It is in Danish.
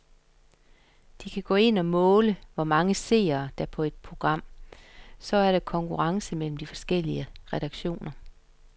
De kan gå ind og måle, hvor mange seere, der er på et program, så der er konkurrence mellem de forskellige redaktioner.